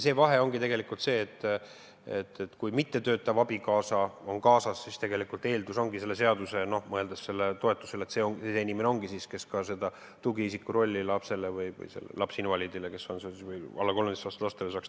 See vahe ongi selles, et kui mittetöötav abikaasa on kaasas, siis eeldus ongi selle seaduse mõttes – mõeldes sellele toetusele –, et see inimene ongi see, kes saaks täita ka tugiisiku rolli lapsinvaliidi või alla 13-aastase lapse jaoks.